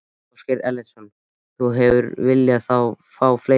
Ásgeir Erlendsson: Þú hefðir viljað fá fleiri?